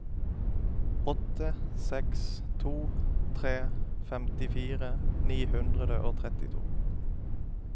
åtte seks to tre femtifire ni hundre og trettito